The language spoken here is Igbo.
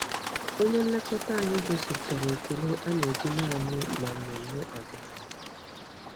Onye nlekọta anyị gosipụtara ekele a na-eji naanị na mmemme ọdịnala.